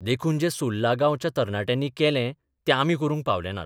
देखून जें सुर्ला गांवच्या तरणाट्यांनी केलें तें आमी करूंक पावले नात.